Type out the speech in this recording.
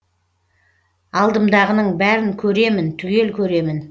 алдымдағының бәрін көремін түгел көремін